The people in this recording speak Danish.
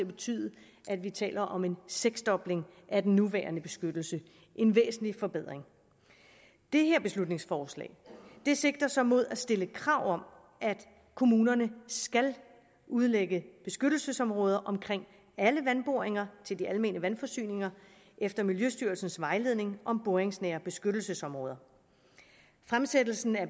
betyde at vi taler om en seksdobling af den nuværende beskyttelse en væsentlig forbedring det her beslutningsforslag sigter så mod at stille krav om at kommunerne skal udlægge beskyttelsesområder omkring alle vandboringer til de almene vandforsyninger efter miljøstyrelsens vejledning om boringsnære beskyttelsesområder fremsættelsen af